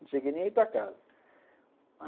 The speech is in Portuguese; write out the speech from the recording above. Não cheguei nem a ir para casa.